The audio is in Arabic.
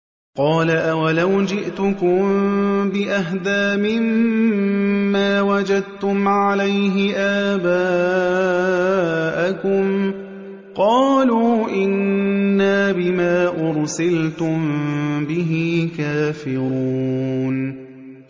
۞ قَالَ أَوَلَوْ جِئْتُكُم بِأَهْدَىٰ مِمَّا وَجَدتُّمْ عَلَيْهِ آبَاءَكُمْ ۖ قَالُوا إِنَّا بِمَا أُرْسِلْتُم بِهِ كَافِرُونَ